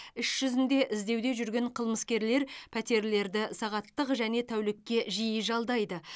іс жүзінде іздеуде жүрген қылмыскерлер пәтерлерді сағаттық және тәулікке жиі жалдайды